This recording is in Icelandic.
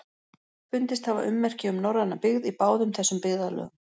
Fundist hafa ummerki um norræna byggð í báðum þessum byggðarlögum.